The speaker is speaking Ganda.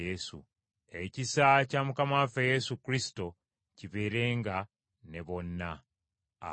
Ekisa kya Mukama waffe Yesu Kristo kibeerenga ne bonna. Amiina.